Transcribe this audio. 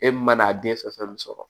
E min man'a den fɛn fɛn sɔrɔ